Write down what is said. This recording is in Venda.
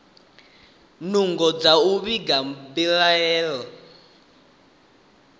nungo dza u vhiga mbilaelo